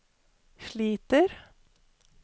sliter